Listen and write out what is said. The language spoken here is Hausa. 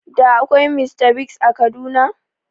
Da akwai Mr Biggs a Kaduna?